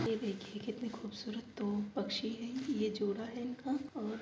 ये देखिए कितने खूबसूरत दो पक्षी है ये जोड़ा है इनका और --